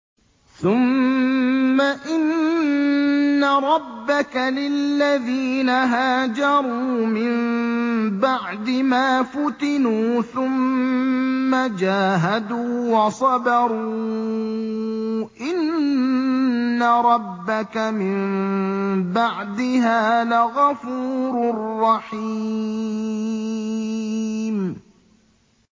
ثُمَّ إِنَّ رَبَّكَ لِلَّذِينَ هَاجَرُوا مِن بَعْدِ مَا فُتِنُوا ثُمَّ جَاهَدُوا وَصَبَرُوا إِنَّ رَبَّكَ مِن بَعْدِهَا لَغَفُورٌ رَّحِيمٌ